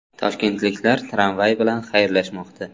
Toshkentliklar tramvay bilan xayrlashmoqda.